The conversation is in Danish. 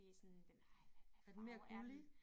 Det sådan den hvad farve er den